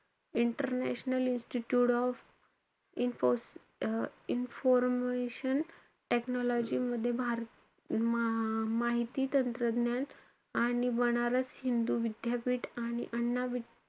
international institute of info~ um information टेक्नॉलॉजीमध्ये, भा~ माहिती तंत्रज्ञान आणि बनारस हिंदू विद्यापीठ आणि अण्णा,